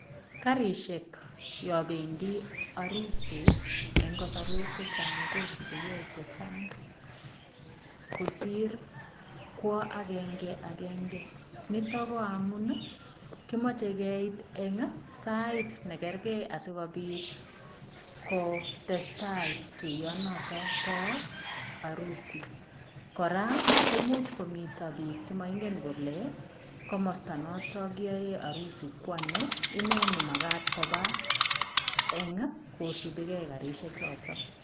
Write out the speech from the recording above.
Karisiek yobendi arusi eng kasarwek che chang kosupike che chang kosir kwo agenge agenge. Nito ko amun kimoche keit eng sait ne kerge asigopit kotestai tuyonoto bo arusi. Kora komuch komito biik che moingen kole komosta noto arusi kwano, inne ne magat koba eng ii, kosupigei karisiechoto.